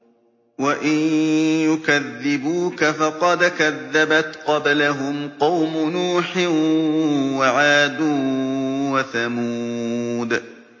وَإِن يُكَذِّبُوكَ فَقَدْ كَذَّبَتْ قَبْلَهُمْ قَوْمُ نُوحٍ وَعَادٌ وَثَمُودُ